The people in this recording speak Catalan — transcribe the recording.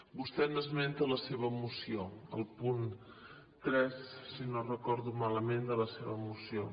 vostè n’esmenta en la seva moció al punt tres si no ho recordo malament de la seva moció